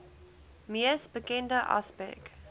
mees bekende aspek